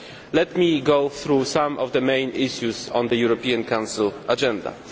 Let me go through some of the main issues on the European Council agenda.